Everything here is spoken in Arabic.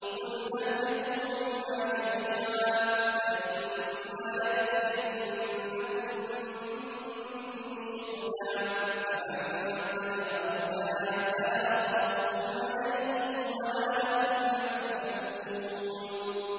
قُلْنَا اهْبِطُوا مِنْهَا جَمِيعًا ۖ فَإِمَّا يَأْتِيَنَّكُم مِّنِّي هُدًى فَمَن تَبِعَ هُدَايَ فَلَا خَوْفٌ عَلَيْهِمْ وَلَا هُمْ يَحْزَنُونَ